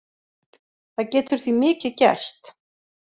Það getur því mikið gerst.